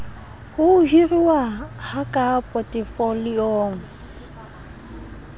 ho hiruwa ha ka potefoliong